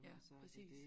Og så er det dét